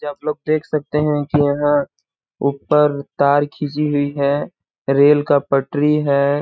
आप लोग देख सकते हैं कि यहां ऊपर तार खींची हुई है रेल का पटरी है।